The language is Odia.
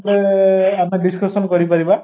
ହେଲେ ଆମେ discussion କରିପାରିବ